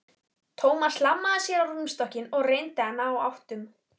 Thomas hlammaði sér á rúmstokkinn og reyndi að ná áttum.